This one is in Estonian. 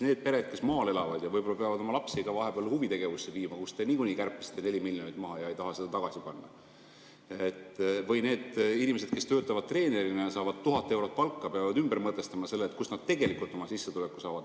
Need pered, kes maal elavad ja peavad oma lapsi ka huvi viima, kust te niikuinii kärpisite 4 miljonit maha ja ei taha seda tagasi panna, või need inimesed, kes töötavad treenerina ja saavad 1000 eurot palka, peavad ümber mõtestama selle, kust nad tegelikult oma sissetuleku saavad.